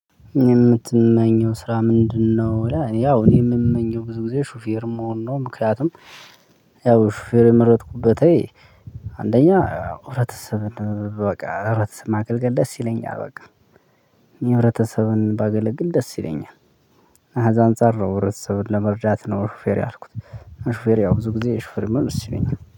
የምትመኘው ስራ ምንድነው? ያው እኔ እምመኘው ብዙ ጊዜ ሹፌር መሆን ነው። ምክንያቱም ያው ሹፌር የመረጥኩበት አንደኛ ህብረተሰብ በቃ ህብረተሰብ ማገልገል ደስ ይለኛል። በቃ እኔ ህብረተሰብን ባገለግል ደስ ይለኛል። ከዛ አንፃር ነው ህብረተሰብን ለመርዳት ነው ሹፌር ያልኩት። ሹፌር ብዙ ጊዜ ሹፌር ብሆን ደስ ይለኛል